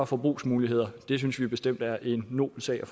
forbrugsmuligheder det synes vi bestemt er en nobel sag